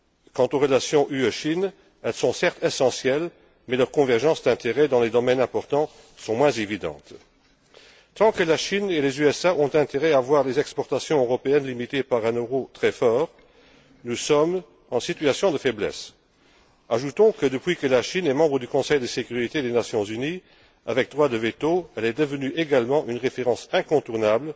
Quant aux relations UE Chine, elles sont certes essentielles, mais leurs convergences d'intérêts dans les domaines importants sont moins évidentes. Aussi longtemps que la Chine et les USA ont intérêt à voir les exportations européennes limitées par un euro très fort, nous sommes en situation de faiblesse. Ajoutons que, depuis que la Chine est membre du Conseil de sécurité des Nations unies avec droit de veto, elle est également devenue une référence incontournable